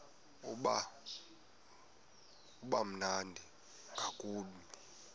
uba mnandi ngakumbi